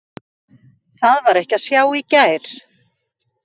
Það var ekki að sjá í gær.